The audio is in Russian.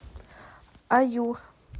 аюр